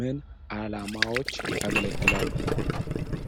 ምን ዓላማዎች ያገለግላሉ?